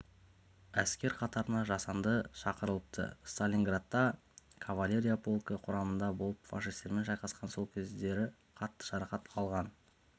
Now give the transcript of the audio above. әскер қатарына жасында шақырылыпты сталинградта кавалерия полкі құрамында болып фашистермен шайқасқан сол кездері қатты жарақат алған